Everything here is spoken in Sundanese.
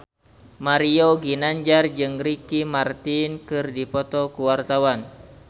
Mario Ginanjar jeung Ricky Martin keur dipoto ku wartawan